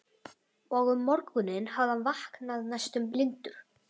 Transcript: Og um morguninn hafði hann vaknað næstum blindur.